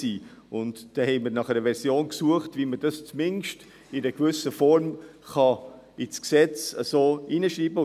Dabei suchten wir nach einer Version, um dies zumindest in einer gewissen Form ins Gesetz hineinzuschreiben.